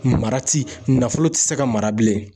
Mara ti nafolo ti se ka mara bilen.